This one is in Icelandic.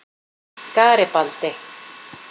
Garibaldi